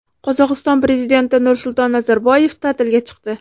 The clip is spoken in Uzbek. Qozog‘iston prezidenti Nursulton Nazarboyev ta’tilga chiqdi.